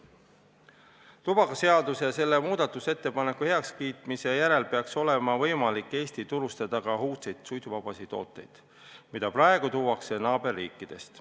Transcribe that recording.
Tubakaseaduse ja aktsiisiseaduse muutmise heakskiitmise järel peaks olema võimalik Eestis turustada ka uudseid suitsuvabasid tooteid, mida praegu tuuakse naaberriikidest.